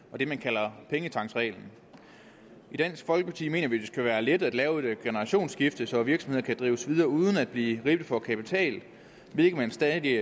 og det man kalder pengetanksreglen i dansk folkeparti mener vi det skal være let at lave et generationsskifte så virksomheder kan drives videre uden at blive ribbet for kapital hvilket de stadig